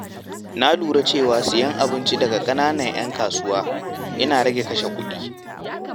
Na lura cewa sayen abinci daga ƙananan ‘yan kasuwa yana rage kashe kuɗi.